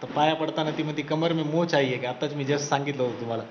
तर पाया पडताना ती म्हणते की कमर मे मौच आई हे क्या आताच मी just सांगितलं होतं तुम्हाला,